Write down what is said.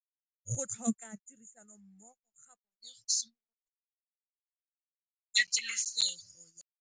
Go tlhoka tirsanommogo ga bone go simolotse patêlêsêgô ya ntwa.